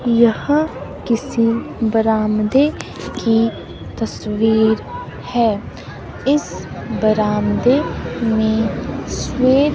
यहां किसी बरामदे की तस्वीर है इस बरामदे में श्वे--